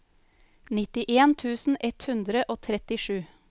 nittien tusen ett hundre og trettisju